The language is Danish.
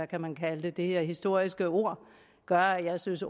kan man kalde det historiske ord gør at jeg synes